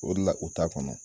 O de la u t'a kɔnɔ